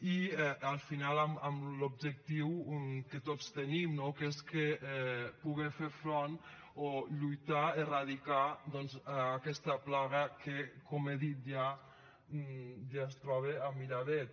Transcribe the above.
i al final amb l’objectiu que tots tenim no que és poder fer front o lluitar erradicar doncs aquesta plaga que com he dit ja ja es troba a miravet